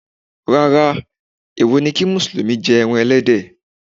Rárá, èwo ni kí Mùsùlùmí jẹ ẹran Ẹlẹ́dẹ̀.